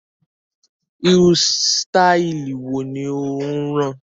Irú sitai wo ni ó ń rán?